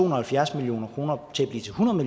og halvfjerds million kroner